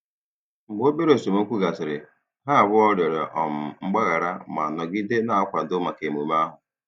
Mgbe obere esemokwu gasịrị, ha abụọ rịọrọ um mgbaghara ma nọgide na-akwado maka emume ahụ.